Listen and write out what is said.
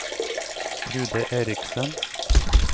Trude Erichsen